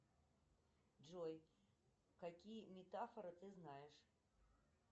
джой какие метафоры ты знаешь